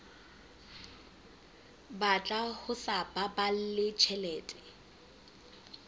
batla ho sa baballe tjhelete